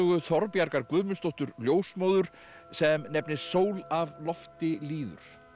Þorbjargar Guðmundsdóttir ljósmóður sem nefnist Sól af lofti líður